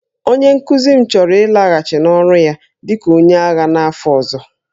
Onye nkuzi m chọrọ ịlaghachi n'ọrụ ya dị ka onye agha n'afọ ọzọ